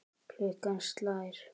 Klukkan slær.